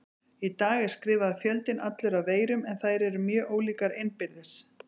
Í dag er skrifaður fjöldinn allur af veirum en þær eru mjög ólíkar innbyrðis.